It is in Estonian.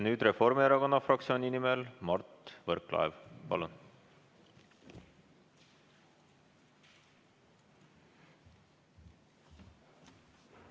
Nüüd Reformierakonna fraktsiooni nimel Mart Võrklaev, palun!